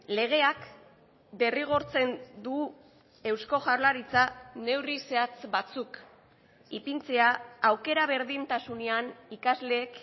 legeak derrigortzen du eusko jaurlaritza neurri zehatz batzuk ipintzea aukera berdintasunean ikasleek